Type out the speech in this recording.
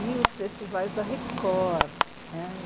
E os festivais da Record né.